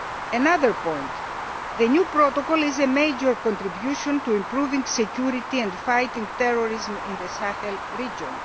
Another point the new protocol is a major contribution to improving security and fighting terrorism in the Sahel region.